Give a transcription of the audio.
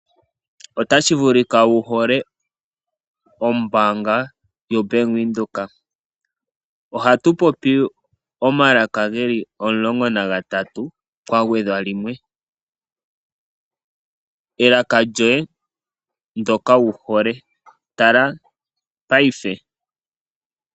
Otashi vulika wuhole ombaanga yoBank Windhoek. Ohatu popi omalaka geli 13 kwa gwedhwa limwe elaka lyoye ndyoka wuhole, tala paife.